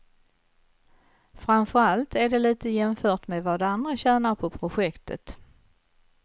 Framför allt är det lite jämfört med vad andra tjänar på projektet.